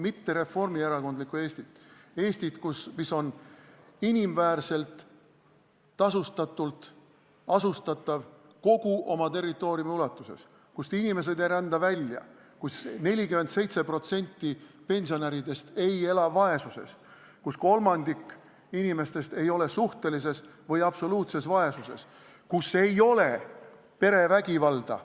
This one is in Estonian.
Mitte reformierakondlikku Eestit, vaid Eestit, mis on inimväärselt tasustatud inimestega asustatud kogu oma territooriumi ulatuses, kust inimesed ei rända välja, kus 47% pensionäridest ei ela vaesuses, kus kolmandik inimestest ei ela suhtelises või absoluutses vaesuses, kus ei ole perevägivalda.